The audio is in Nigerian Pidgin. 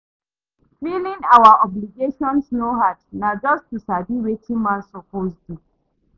Filing our obligations no hard, na just to sabi wetin man suppose do.